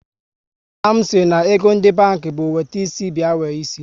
Nna m si na ego ndị banki bụ wete isi bịa were isi